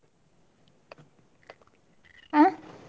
ಅ.